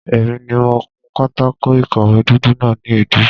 Èmi ni mo kun pátákó ìkọ̀wé dúdú náà ni èédú.